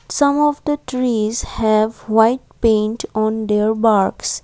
some of the trees have white paint on their box.